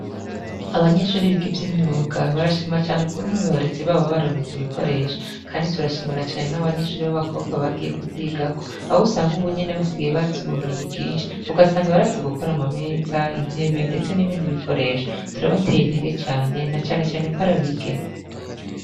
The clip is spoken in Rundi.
Abanyeshuri b'igivye imyuga barashima cane ukuntuubaurizi babo baronkeje ibikoresha, kandi turashimira cane n'abanyeshuri b'abakobwa bagiye kuyigako abo usanga uwu nyene basigaye bazibubumenyi bwinshi ugasanga barazi gukora amameza intebe, ndetse n'ibindi bikoresha turabateye intege cane na canecane ko arabigeme.